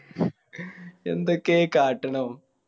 എന്തൊക്കെയാ ഈ കട്ടിണെ ആവോ